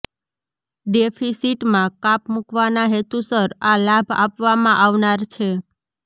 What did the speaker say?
ડેફિસિટમાં કાપ મુકવાના હેતુસર આ લાભ આપવામાં આવનાર છે